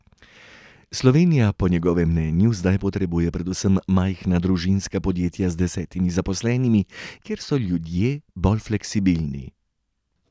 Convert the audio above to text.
Slovenija po njegovem mnenju zdaj potrebuje predvsem majhna družinska podjetja z deset zaposlenimi, kjer so ljudje bolj fleksibilni.